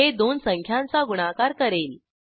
हे दोन संख्यांचा गुणाकार करेल